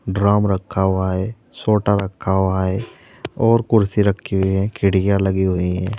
Drum रखा हुआ है सोटा रखा हुआ है और कुर्सी रखी हुई है खिड़कियां लगी हुई हैं।